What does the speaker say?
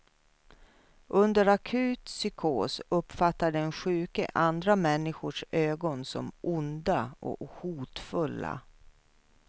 Under akut psykos uppfattar den sjuke andra människors ögon som onda och hotfulla.